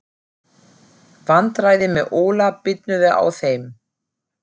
Vandræðin með Óla bitnuðu á þeim.